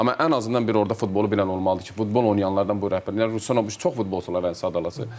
Amma ən azından bir orda futbolu bilən olmalıdır ki, futbol oynayanlardan bu rəhbərlik, Ruslan çox futbolçular sadalası.